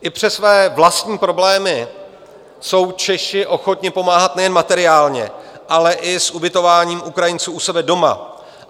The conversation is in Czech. I přes své vlastní problémy jsou Češi ochotni pomáhat nejen materiálně, ale i s ubytováním Ukrajinců u sebe doma.